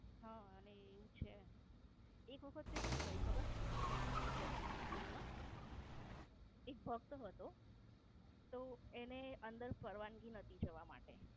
હા અને એવું છે. એક વખત તે શું થયું ખબર ત્યાં ગાળી જગન્નાથપુરી માં? એક ભક્ત હતો તો એને પરવાનગી નાતી અંદર જવા માટે.